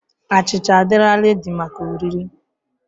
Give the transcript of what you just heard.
Achịcha a'dịla redi maka oriri.